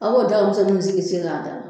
An b'o dagaminsɛnninw sigi k'a da